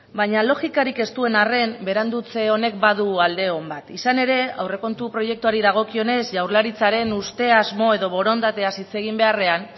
baina logikarik ez duen arren berandutze honek badu alde on bat izan ere aurrekontu proiektuari dagokionez jaurlaritzaren uste asmo edo borondateaz hitz egin beharrean